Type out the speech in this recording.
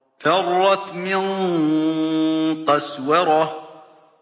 فَرَّتْ مِن قَسْوَرَةٍ